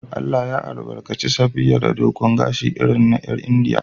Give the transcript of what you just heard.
Allah ya albarkace Safiya da dogon gashi irin na 'yar Indiya.